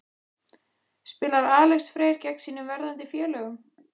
Spilar Alex Freyr gegn sínum verðandi félögum?